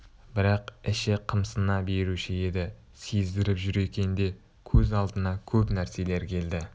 бірақ іші қымсына беруші еді сездіріп жүр екен де көз алдына көп нәрселер келді